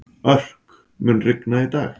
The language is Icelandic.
Örk, mun rigna í dag?